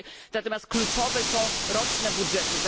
Natomiast kluczowe są roczne budżety.